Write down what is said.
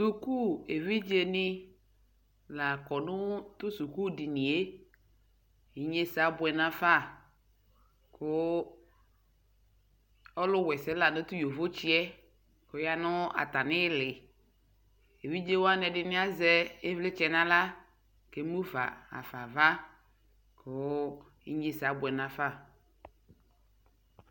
sʋkʋ ɛvidzɛ ni la kɔnʋ sʋkʋ diniɛ inyɛsɛ abʋɛ nʋ aɣa kʋ ɔlʋ wɛsɛ lanʋ tʋ yɔvɔ tsiɛ kʋ ɔyanʋ atami ili, ɛvidzɛ wani ɛdini azɛ ivlitsɛ nʋ ala kʋ ɛmʋƒa haƒa aɣa kʋ inyɛzɛ abʋɛ nʋ aƒa